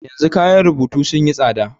Yanzu kayan rubutu sun yi tsada.